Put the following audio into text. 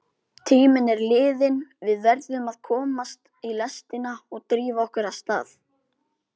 Tíminn er liðinn, við verðum að komast í lestina og drífa okkur af stað.